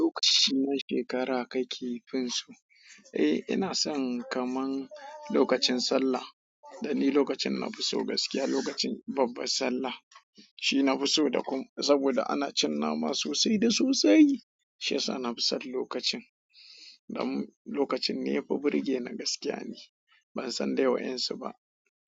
Lokaci na shekara kake finsu, eh ina son kaman lokacin sallah. Dan ni lokacin na fi so gaskiya lokacin babban sallah. Shi na fi so da kuma saboda ana cin nama sosai da sosai. Shi yasa na fi son lokacin. Dan lokacin ne ya fi burge ni gaskiya ni. Ban san dai wa yan su ba.